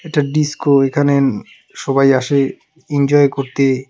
এটা ডিস্কো এখানে সবাই আসে ইনজয় করতে.